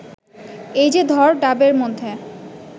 এই যে ধর ডাবের মধ্যে